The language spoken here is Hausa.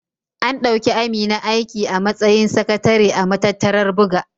An ɗauki Amina aiki a matsayin sakatare a matattarar buga.